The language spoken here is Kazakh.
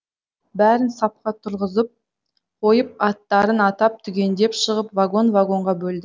бәрін сапқа тұрғызып қойып аттарын атап түгендеп шығып вагон вагонға бөлді